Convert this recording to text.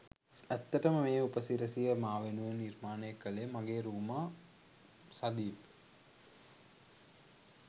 ඇත්තටම මේ උපසිරැසිය මා වෙනුවෙන් නිර්මාණය කළේ මගේ රූමා සදීප්.